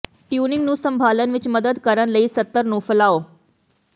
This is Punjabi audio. ਟਿਊਨਿੰਗ ਨੂੰ ਸੰਭਾਲਣ ਵਿੱਚ ਮਦਦ ਕਰਨ ਲਈ ਸਤਰ ਨੂੰ ਫੈਲਾਓ